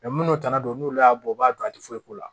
minnu tana don n'olu y'a bɔ u b'a dɔn a tɛ foyi k'u la